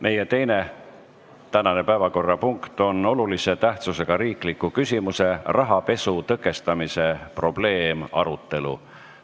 Meie teine tänane päevakorrapunkt on olulise tähtsusega riikliku küsimuse "Rahapesu tõkestamise probleem" arutelu.